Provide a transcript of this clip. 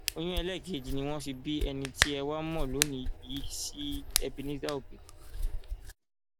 oyún ẹlẹẹkejì ni wọn fi bí ẹni tí ẹ wàá mọ lónìí yìí sí ebenezer obey